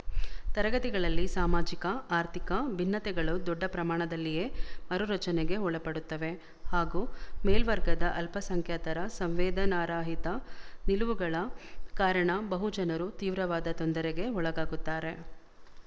ತರಗತಿಗಳಲ್ಲಿ ಸಾಮಾಜಿಕಆರ್ಥಿಕ ಭಿನ್ನತೆಗಳು ದೊಡ್ಡ ಪ್ರಮಾಣದಲ್ಲಿಯೇ ಮರುರಚನೆಗೆ ಒಳಪಡುತ್ತವೆ ಹಾಗೂ ಮೇಲ್ವರ್ಗದ ಅಲ್ಪಸಂಖ್ಯಾತರ ಸಂವೇದನಾರಹಿತ ನಿಲುವುಗಳ ಕಾರಣ ಬಹುಜನರು ತೀವ್ರವಾದ ತೊಂದರೆಗೆ ಒಳಗಾಗುತ್ತಾರೆ